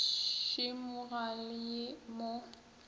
šemo ga le ye mo